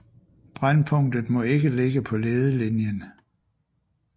Brændpunktet må ikke ligge på ledelinjen